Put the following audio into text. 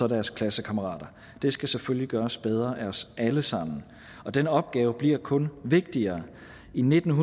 deres klassekammerater det skal selvfølgelig gøres bedre af os alle sammen den opgave bliver kun vigtigere i nitten